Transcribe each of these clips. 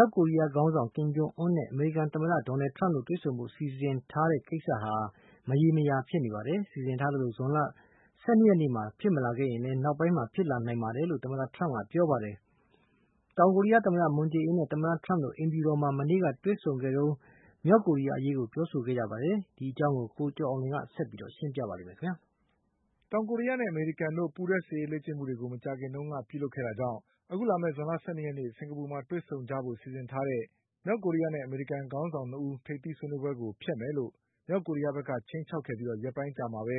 ောက်ကိုရီးယားခေါင်းဆောင် ကင်ဂျုံအွန်းနဲ့ အမေရိကန်သမ္မတ ဒေါ်နလ်ထရမ့်တို့တွေ့ဆုံကြဖို့စီစဉ်ထားတဲ့ကိစ္စဟာ မရေမရာ ဖြစ်နေပါတယ်။ စီစဉ်ထားသလို ဇွန်လ၁၂နေ့မှာဖြစ်မလာရင်လည်း နောက်ပိုင်းမှာဖြစ်လာနိုင်ပါတယ်လို့ သမ္မ ထရမ့်က ပြောပါတယ်။ တောင်ကိုရီးယားသမ္မတ မွန်ဂျေးအင်နဲ့သမ္မတထရမ့်တို့ အိမ်ဖြူတော်မှာ မနေ့ကတွေ့ဆုံခဲ့ကြ တုန်း မြောက်ကိုရီးယားအရေးကိုပြောဆိုခဲ့ကြပါတယ်။ ဒီအကြောင်း ကိုကျော်အောင်လွင်က ဆက်ပြီးရှင်းပြပါလိမ့်မယ်။ တောင်ကိုးရီးယားနဲ့အမေရိကန်တို့ပူးတွဲစစ်ရေးလေ့ကျင့်မှုတွေမကြာ ခင်ကပြုလုပ်ခဲ့တာကြောင့် အခုလာမယ့် ဇွန်လ၁၂ ရက်နေ့ကျရင် စင်္ကာပူနိုင်ငံမှာတွေ့ဆုံကြမယ်ဆိုပြီး စီစဉ်ထားကြတဲ့ မြောက်ကိုရီးယားနဲ့အမေရိကန်ခေါင်းဆောင်၂ဦး တို့ရဲ့ထိပ်သီးဆွေးနွေးပွဲကို ဖျက်မယ်လို့ မြောက်ကိုရီးယားဘက်က ခြိမ်းခြောက်ခဲ့ပြီး ရက်ပိုင်းအကြာမှာပဲ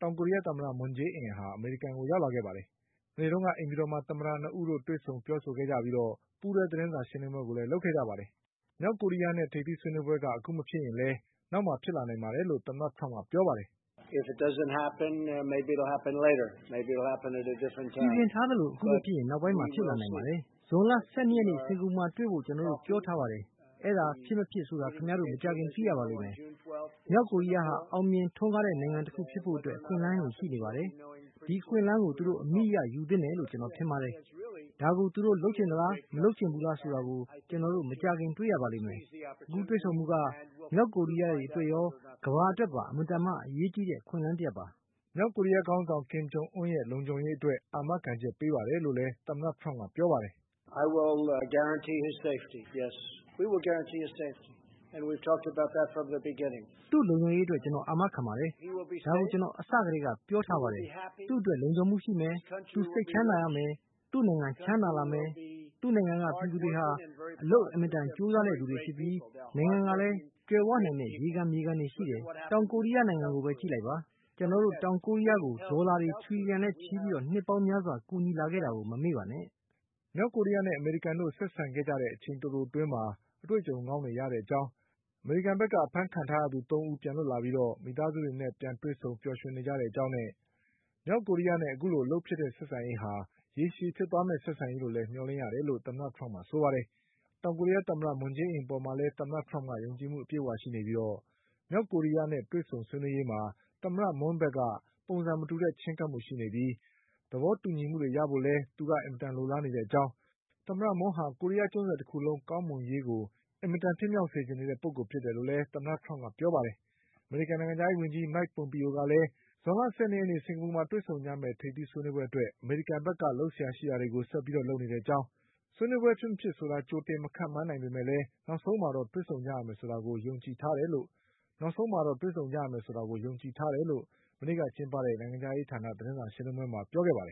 တောင်ကိုရီး ယားသမ္မတ မွန်ဂျေးအင် အမေရိကန်ကိုရောက်လာခဲ့တာပါ။ မနေ့က အိမ်ဖြူတော်မှာ သမ္မတ၂ဦးတွေ့ဆုံခဲ့ပြီး ပူးတွဲ သတင်းစာရှင်းလင်းပွဲလည်းလုပ်ခဲ့ကြပါတယ်။ မြောက်ကိုရီးယားနဲ့ထိပ်သီးဆွေးနွေးပွဲက အခုမဖြစ်ရင်လည်း နောက်မှာ ဖြစ်လာနိုင်ပါတယ်လို့ သမ္မတထရမ့်ကပြောပါတယ်။ "စီစဉ်ထားသလို မဖြစ်ရင် နောက်ပိုင်းမှာဖြစ်လာနိုင်ပါတယ်။ ကျနော်တို့တွေ့ရမှာပါ။ ဇွန်လ၁၂ရက်နေ့ စင်္ကာပူမှာတွေ့ဖို့ ကျနော်တို့ပြောထားပါတယ်။ အဲဒါ ဖြစ် မဖြစ်ဆိုတာကို ခင်ဗျားတို့မကြာခင်မှာသိရပါလိမ့်မယ်။ မြောက်ကိုရီးယားဟာ အောင်မြင်ထွန်းကားတဲ့နိုင်ငံတခုဖြစ်ဖို့အခွင့်အလမ်းရှိနေပါတယ်။ ဒီအခွင့်အလမ်းကိုသူတို့အမိအရယူသင့်တယ်လို့ ကျနော်ထင်ပါတယ်။ ဒါကိုသူတို့လုပ်ချင်သလား မလုပ်ချင်ဘူးလားဆိုတာကို ကျနော်တို့ မကြာခင်တွေ့ရပါလိမ့်မယ်။အခု တွေ့ဆုံမှုက မြောက်ကိုရီးယားအတွက်ရော ကမ္ဘာအတွက်ပါ အင်မတန်မှ အရေးကြီးတဲ့အခွင့်အလမ်းတရပ်ပါ။" မြောက်ကိုရီးယားခေါင်းဆောင်ကင်ဂျုံအွန်ရဲ့ လုံခြုံရေးအတွက် အာမခံချက်ပေးပါတယ်လို့လည်း သမ္မတထရမ့်ကပြောပါ တယ်။ "သူ့လုံခြုံရေးအတွက် ကျနော်အာမခံပါတယ်။ ဒါကိုကျနော်တို့အစကတည်းကပြောထားပါ တယ်။ သူ့အတွက်လုံခြုံမှုရှိမယ်။ သူစိတ်ချမ်းသာရမယ်။ သူ့နိုင်ငံ ချမ်းသာလာမယ်။ သူ့နိုင်ငံကပြည်သူတွေဟာ အလုပ် အင်မတန်ကြိုးစားတဲ့ သူတွေဖြစ်ပြီး နိုင်ငံကလည်း ကြွယ်ဝနိုင်တဲ့ ရေခံမြေခံတွေရှိတယ်။ တောင်ကိုရီးယားနိုင်ငံကိုပဲ ကြည့်လိုက်ပါ။ ကျနော်တို့ တောင်ကိုရီးယားကို ဒေါ်လာတွေထြီလျှံနဲ့ချီပြီး နှစ်ပေါင်းများစွာကူညီလာခဲ့တာကို မမေ့ပါနဲ့" မြောက်ကိုရီးယားနဲ့ အမေရိကန်တို့ဆက်ဆံခဲ့ကြတဲ့အချိန်တိုတိုအတွင်းမှာ အတွေ့အကြုံကောင်းတွေရတဲ့အကြောင်း အဖမ်းခံထားရသူ သုံးဦးပြန်လွတ်မြောက်လာပါပြီး မိသားစုတွေနဲ့ပြန်ဆုံပြီးပျော်ရွှင်နေကြတဲ့အကြောင်းနဲ့ မြောက်ကိုရီး နဲ့အခုလိုအလုပ်ဖြစ်တဲ့ဆက်ဆံရေးဟာ ရေရှည်ဖြစ်သွားမယ့်ဆက်ဆံရေးလို့မျှော်လင့်ရတယ်လို့လည်း သမ္မတထရမ့်က ပြောပါတယ်။ တောင်ကိုရီးယားသမ္မတ မွန်ဂျေးအင်အပေါ်မှာ သမ္မတထရမ့်က ယုံကြည်မှုအပြည့်အဝရှိနေပြီး မြောက် ကိုရီးယားနဲ့တွေ့ဆုံဆွေးနွေးရေးမှာ သမ္မတမွန်းဘက်က ပုံစံမတူတဲ့ချဉ်းကပ်မှုရှိနေပြီး သဘောတူညီမှုတွေရဖို့လည်း သူက အင်မတန်လိုလားနေတဲ့အကြောင်း၊ သမ္မတမွန်းဟာ ကိုရီးယားကျွန်းဆွယ်တခုလုံးကောင်မွန်ရေးအတွက် အင်မတန်ဖြစ်မြောက်စေချင်နေတဲ့ပုဂ္ဂိုလ်ဖြစ်တယ်လို့လည်း သမ္မတထရမ့်ကပြောပါတယ်။ အမေရိကန်နိုင်ငံခြားရေးဝန်ကြီး မိုက် ပွန်ပီယိုကလည်း စင်္ကာပူမှာ ဇွန်လ၁၂ရက်နေ့တွေ့ဆုံကြမယ့် ထိပ်သီးဆွေးနွေးပွဲ အတွက် အမေရိကန်ဘက်က လုပ်စရာရှိတာတွေကို ဆက်ပြီးလုပ်နေတဲ့အကြောင်း။ ဖြစ်မဖြစ်ဆိုတာကြိုတင်မခန့်မှန်းနိုင် ပေမဲ့ နောက်ဆုံးမှာတော့ တွေ့ဆုံကြရမယ်ဆိုတာကို ယုံကြည်ထားတယ်လို့ မနေ့ကကျင်းပတဲ့ နိုင်ငံခြားရေးဌာန သတင်း စာရှင်းလင်းပွဲမှာပြောပါတယ